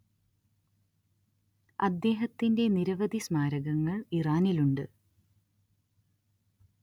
അദ്ദേഹത്തിന്റെ നിരവധി സ്മാരകങ്ങൾ ഇറാനിലുണ്ട്